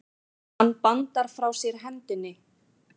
Hann bandar frá sér hendinni.